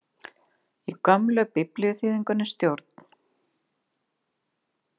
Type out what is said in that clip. Í gömlu biblíuþýðingunni Stjórn.